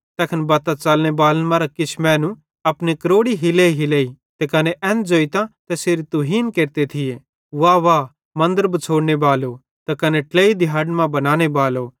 तैखन बत्तां च़लनेबालन मरां किछ मैनू अपनी क्रोड़ी हिलेइहिलेइतां ते कने एन ज़ोइतां तैसेरी तुहीन केरते थिये कि वाह वाह मन्दर बिछ़ोड़नेबालो त कने ट्लेइ दिहाड़न मां बनानेबालो